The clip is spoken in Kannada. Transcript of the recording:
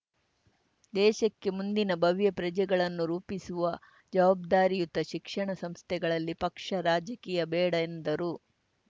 ದೇಶಕ್ಕೆ ಮುಂದಿನ ಭವ್ಯ ಪ್ರಜೆಗಳನ್ನು ರೂಪಿಸುವ ಜವಾಬ್ದಾರಿಯುತ ಶಿಕ್ಷಣ ಸಂಸ್ಥೆಗಳಲ್ಲಿ ಪಕ್ಷ ರಾಜಕೀಯ ಬೇಡ ಎಂದರು